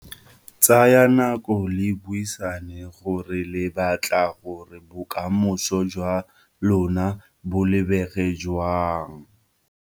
Tsayang nako le buisane gore le batla gore bokamoso jwa lona bo lebege jang.